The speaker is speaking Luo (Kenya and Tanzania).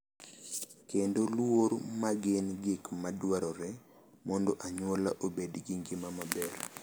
Kendo luor ma gin gik ma dwarore mondo anyuola obed gi ngima maber.